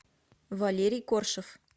валерий коршев